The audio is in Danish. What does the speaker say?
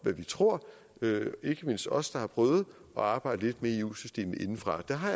hvad vi tror ikke mindst os der har prøvet at arbejde lidt med eu systemet indefra det har